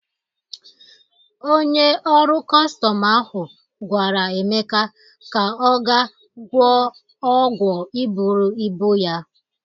Onye ọrụ kọstọm ahụ gwara Emeka ka ọ ga gwọ ọgwọ iburu ibu ya.